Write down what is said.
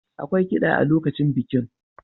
Akwai kida a lokacin bikin.